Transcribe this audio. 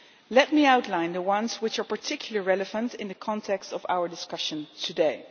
Let me outline the ones which are particularly relevant in the context of our discussion today.